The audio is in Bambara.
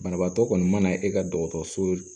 Banabaatɔ kɔni mana e ka dɔgɔtɔrɔso